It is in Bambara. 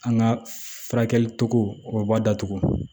An ka furakɛli cogo o ba datugu